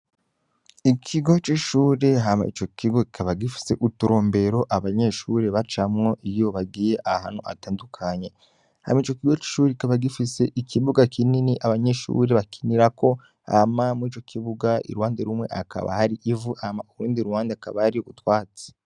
Ikigo c'ishuri hama ico kigo kikaba gifise uturombero abanyeshuri bacamwo iyobagiye ahanu atandukanye, hama ico kigo c'ishuri kikaba gifise ikibuga kinini abanyeshuri bakinirako, ama mw’ico kibuga irwande rumwe akaba hari ivu ama urundi ruhande akabari gutwatsi.